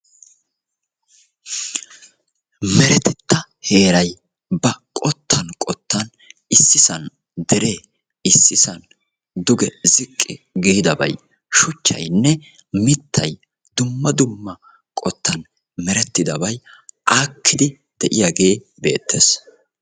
Meretetta heeray ba qottan qottan Issisan dere issisan duge ziqqi giidabay shuchchayinne mittay dumma dumma qottan merettidabay aakkidi de'iyaage beettes